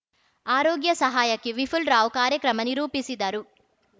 ಆರೋಗ್ಯ ಸಹಾಯಕಿ ವಿಪುಲ್ ರಾವ್‌ ಕಾರ್ಯಕ್ರಮ ನಿರೂಪಿಸಿದರು